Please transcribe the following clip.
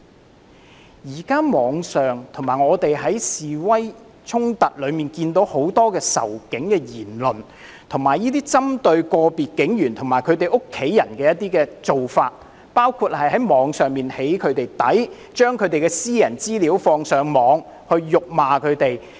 我們在網上及示威衝突中均看到很多仇警的言論，以及針對個別警員及其家人的做法，包括在網上對警務人員"起底"、把他們的私人資料放上網及辱罵他們。